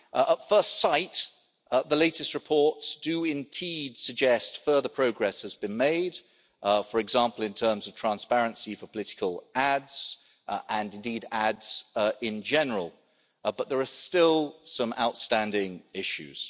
At first sight, the latest reports do indeed suggest further progress has been made, for example, in terms of transparency for political ads and indeed ads in general, but there are still some outstanding issues.